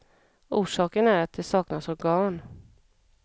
Orsaken är att det saknas organ.